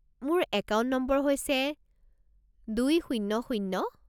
মোৰ account number হৈছে দুই শূণ্য শূণ্য